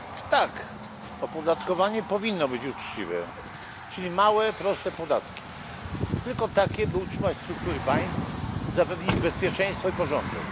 Tak! Opodatkowanie powinno być uczciwe, czyli małe proste podatki, tylko takie, by utrzymać struktury państw, zapewnić bezpieczeństwo i porządek.